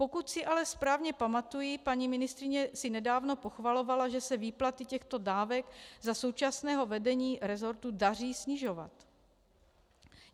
Pokud si ale správně pamatuji, paní ministryně si nedávno pochvalovala, že se výplaty těchto dávek za současného vedení rezortu daří snižovat.